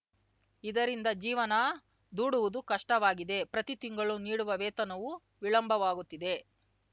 ಇದರಿಂದ ಜೀವನ ದೂಡುವುದು ಕಷ್ಟವಾಗಿದೆ ಪ್ರತಿ ತಿಂಗಳು ನೀಡುವ ವೇತನವೂ ವಿಳಂಬವಾಗುತ್ತಿದೆ